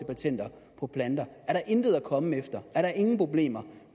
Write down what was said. patenter på planter er der intet at komme efter er der ingen problemer